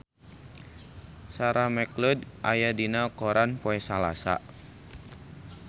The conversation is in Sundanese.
Sarah McLeod aya dina koran poe Salasa